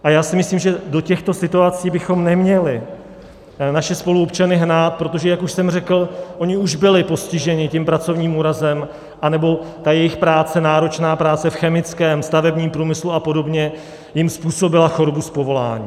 A já si myslím, že do těchto situací bychom neměli naše spoluobčany hnát, protože, jak už jsem řekl, oni už byli postiženi tím pracovním úrazem, anebo ta jejich práce, náročná práce v chemickém, stavebním průmyslu a podobně, jim způsobila chorobu z povolání.